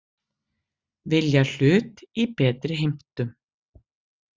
Vilja hlut í betri heimtum